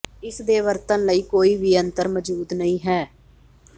ਇਸ ਦੇ ਵਰਤਣ ਲਈ ਕੋਈ ਵੀ ਅੰਤਰ ਮੌਜੂਦ ਨਹੀ ਹੈ